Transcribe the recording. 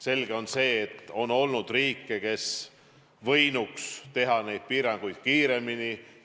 Selge on see, et on olnud riike, kes võinuks teha neid piiranguid kiiremini.